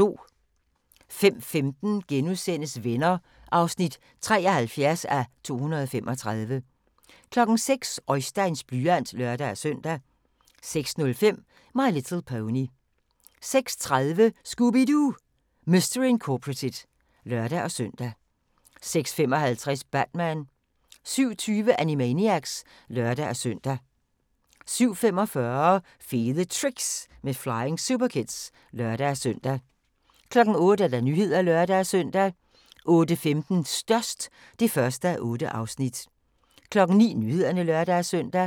05:15: Venner (73:235)* 06:00: Oisteins blyant (lør-søn) 06:05: My Little Pony 06:30: Scooby-Doo! Mystery Incorporated (lør-søn) 06:55: Batman 07:20: Animaniacs (lør-søn) 07:45: Fede Tricks med Flying Superkids (lør-søn) 08:00: Nyhederne (lør-søn) 08:15: Størst (1:8) 09:00: Nyhederne (lør-søn)